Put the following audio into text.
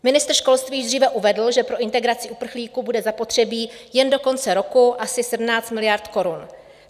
Ministr školství již dříve uvedl, že pro integraci uprchlíků bude zapotřebí jen do konce roku asi 17 miliard korun.